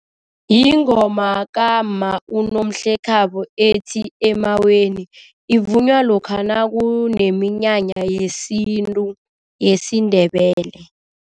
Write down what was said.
Yingoma kamma uNomhlekhabo ethi, emaweni. Ivunywa lokha nakuneminyanya yesintu yesiNdebele.